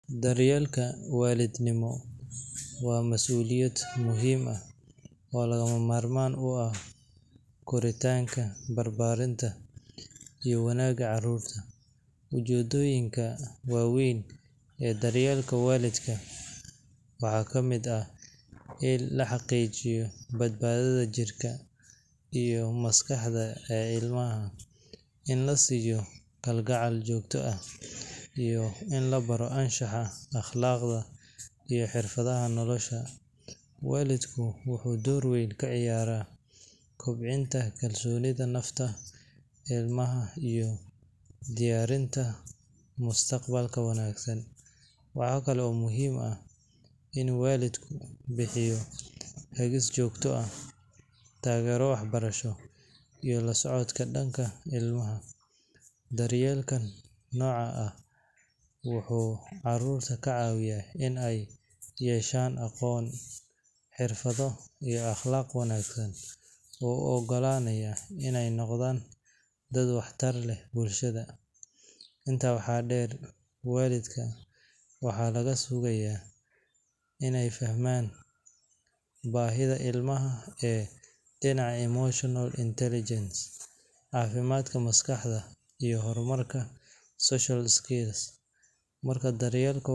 Daryeelka waalidnimo waa mas’uuliyad muhiim ah oo lagama maarmaan u ah koritaanka, barbaarinta, iyo wanaagga carruurta. Ujeeddooyinka waaweyn ee daryeelka waalidka waxaa ka mid ah in la xaqiijiyo badbaadada jirka iyo maskaxda ee ilmaha, in la siiyo kalgacal joogto ah, iyo in la baro anshaxa, akhlaaqda, iyo xirfadaha nolosha. Waalidku wuxuu door weyn ka ciyaaraa kobcinta kalsoonida nafta ilmaha iyo diyaarinta mustaqbal wanaagsan. Waxaa kale oo muhiim ah in waalidku bixiyo hagis joogto ah, taageero waxbarasho, iyo la socodka dhaqanka ilmaha. Daryeelka noocan ah wuxuu carruurta ka caawiyaa in ay yeeshaan aqoon, xirfado, iyo akhlaaq wanaag oo u oggolaanaya inay noqdaan dad waxtar leh bulshada. Intaa waxaa dheer, waalidka waxaa laga sugayaa inay fahmaan baahiyaha ilmaha ee dhinaca emotional intelligence, caafimaadka maskaxda, iyo horumarka social skills. Marka daryeelka.